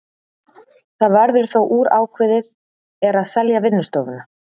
Það verður þó úr að ákveðið er að selja vinnustofuna.